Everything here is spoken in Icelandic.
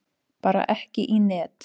Bara ekki í net.